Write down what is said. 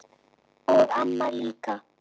Og amma líka.